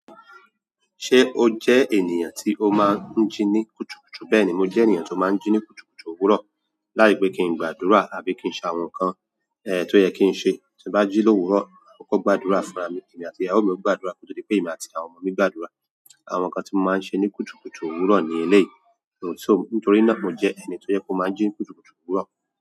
Ṣé o jẹ́ ènìyàn tí o máa ń jí ní kùtùkùtù? Bẹ́ẹ̀ni, mo jẹ́ ènìyàn tó máa ń jí ní kùtùkùtù òwúrọ̀. Láì pẹ́ kí n gbàdúrà àbí kí n ṣe àwọn nǹkan è tó yẹ kí n ṣe. Ti n ba jini òwúrọ̀ ma koko gbàdúrà fúnra mi. Èmi àti ìyàwó mi o gbàdúrà kóto dí pé èmi àti àwọn ọmọ mi gbàdúrà. Àwọn nǹkan tí mo máa ń ṣe ní kùtùkùtù òwúrọ̀ ní elé yìí so nítorí náà mo jẹ́ ẹni tó yẹ pe o máa ń jí ní kùtùkùtù òwúrọ̀.